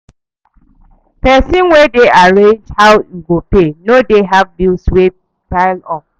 Pesin wey dey arrange how im go pay no dey have bills wey pile up